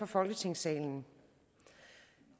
folketingssalen